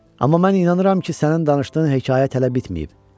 Amma mən inanıram ki, sənin danışdığın hekayə hələ bitməyib.